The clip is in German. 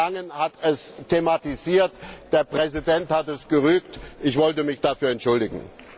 Herr Langen hat es thematisiert, der Präsident hat es gerügt ich wollte mich dafür entschuldigen.